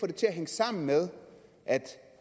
det til at hænge sammen med at